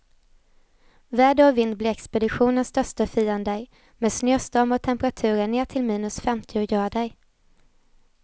Väder och vind blir expeditionens största fiender, med snöstormar och temperaturer ner till minus femtio grader.